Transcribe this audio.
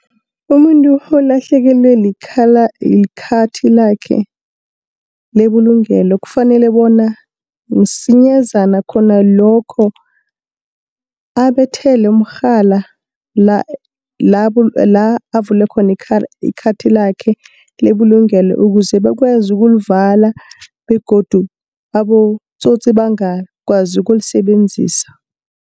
Umuntu olahlekelwe likhathi lakhe lebulungelo kufanele bona msinyazana khona lokho, abethathela umrhala la avuea khona ikhathi lakhe lebulungelo ukuze bakwazi ulikuvala begodu abotsotsi bangakwazi ukulisebenzisa.